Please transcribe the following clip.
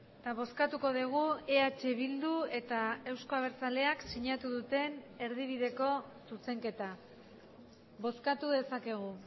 eta bozkatuko dugu eh bildu eta euzko abertzaleak sinatu duten erdibideko zuzenketa bozkatu dezakegu